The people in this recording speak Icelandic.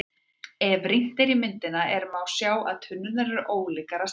Ef rýnt er í myndina er má sjá að tunnurnar eru ólíkar að stærð.